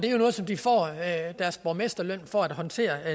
er jo noget som de får deres borgmesterløn for at håndtere